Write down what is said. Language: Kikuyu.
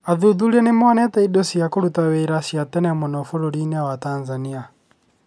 Athuthuria nĩ monete indo cia kũruta wĩra cia tene mũno bũrũri-inĩ wa Tanzania.